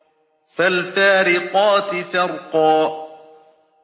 فَالْفَارِقَاتِ فَرْقًا